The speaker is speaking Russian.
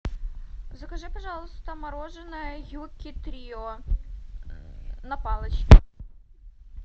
закажи пожалуйста мороженое юкки трио на палочке